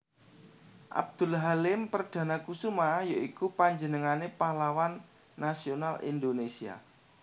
Abdul Halim Perdanakusuma ya iku panjenengané pahlawan nasional Indonésia